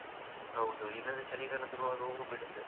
ಹೌದು ಇಲ್ಲಾದ್ರೆ ಚಳಿಗಾಲ ಸುರುವಾಗ ಹೂ ಬಿಡುತ್ತೆ ಅದು.